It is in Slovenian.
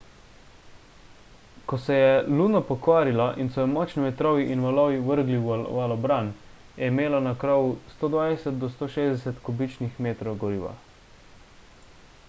ko se je luno pokvarila in so jo močni vetrovi in valovi vrgli v valobran je imela na krovu 120–160 kubičnih metrov goriva